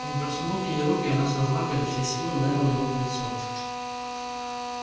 он протянул к ней руку и она с размаху изо всей силы ударила его по лицу